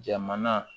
Jamana